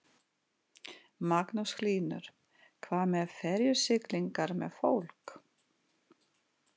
Magnús Hlynur: Hvað með ferjusiglingar með fólk?